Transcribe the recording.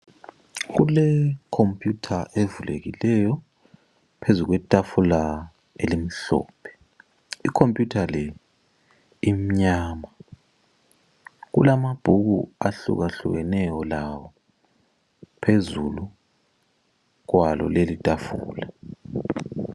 Kulekhompiyutha evulekileyo phezu kwetafula elimhlophe. Ikhompiyutha le imnyama. Kulamabhuku ahlukahlukeneyo lawo phezulu kwalo leli itafula.